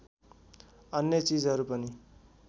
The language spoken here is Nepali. अन्य चिजहरू पनि